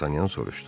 Dartanyan soruşdu.